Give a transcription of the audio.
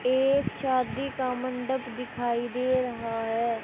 एक शादी का मंडप दिखाई दे रहा है।